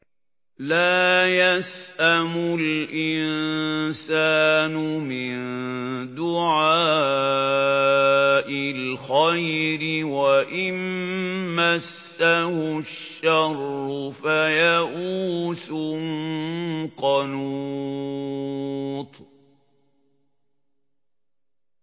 لَّا يَسْأَمُ الْإِنسَانُ مِن دُعَاءِ الْخَيْرِ وَإِن مَّسَّهُ الشَّرُّ فَيَئُوسٌ قَنُوطٌ